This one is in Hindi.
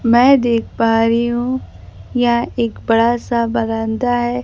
मैं देख पा रही हूं यह एक बड़ा सा बरामदा है।